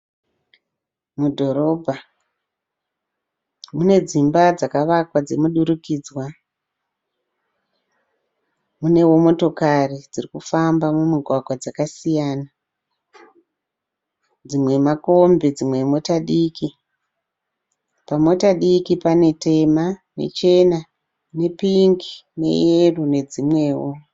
Mudhorobha mune dzimba dzakavakwa dzomudurikidzwa. Munewo motokari dziri kufamba mumugwagwa dzakasiyana, dzimwe makombi, dzimwe imota diki. Pamota diki pane tema nechena nepingi neyero nedzimwewo.